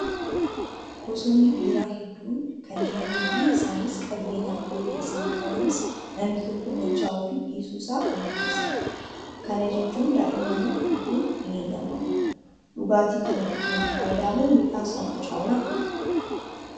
Gosoonni biiraa hedduun kan jiranii fi isaanis qabiyyeen alkoolii isaan qabanis namni tokko machaa'uu fi dhiisuu isaa kan murteessanidha. Kana jechuun daa'immaniif dhuguun hin heeyyamamu. Dhugaatii kana dhuguun fayidaa moo miidhaa isaatu caalaa?